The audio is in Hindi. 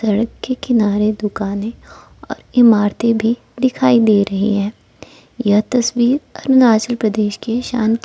सड़क के किनारे दुकानें और इमारतें भी दिखाई दे रही हैं यह तस्वीर अरुणाचल प्रदेश के शान--